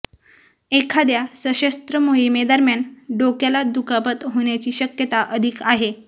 एखाद्या सशस्त्र मोहिमेदरम्यान डोक्याला दुखापत होण्याची शक्यता अधिक आहे